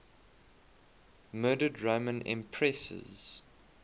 murdered roman empresses